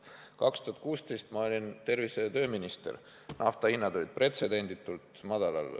2016 olin ma tervise- ja tööminister, nafta hind olid pretsedenditult madalal.